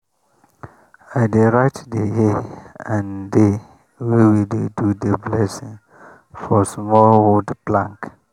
i dey write the year and day wey we do the blessing for small wood plank.